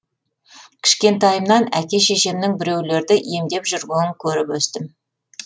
кішкентайымнан әке шешемнің біреулерді емдеп жүргенін көріп өстім